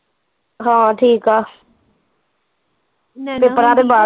ਹਾਂ ਠੀਕ ਆ